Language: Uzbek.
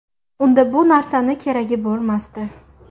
Unda bu narsani keragi bo‘lmasdi.